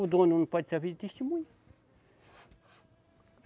O dono não pode servir de testemunha.